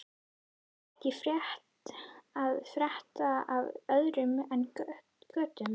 Er ekkert að frétta af öðru en götum?